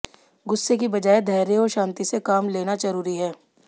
गुस्से की बजाय धैर्य और शांति से काम लेना जरूरी है